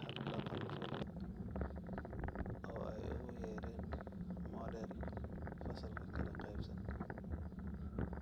hab dhaqan-fulin oo ay ugu yeedheen 'Model Fasalka Kala Qaybsan'.